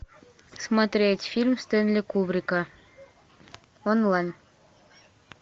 смотреть фильм стэнли кубрика онлайн